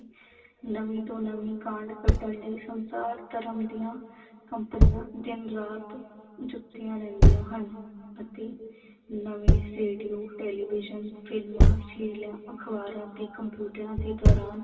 ਨਵੀਂ ਤੋਂ ਨਵੀਂ ਕਾਢ ਕੱਢਣ ਲਈ ਸੰਸਾਰ ਭਰ ਦੀਆਂ ਕੰਪਨੀਆਂ ਦਿਨ ਰਾਤ ਜੁੱਟੀਆ ਰਹਿੰਦੀਆਂ ਹਨ ਅਤੇ ਨਵੇਂ ਰੇਡੀਓ television ਫ਼ਿਲਮਾਂ ਅਖਬਾਰਾਂ ਤੇ ਕੰਪਿਊਟਰਾਂ ਦੇ ਦੌਰਾਨ